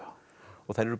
og þær eru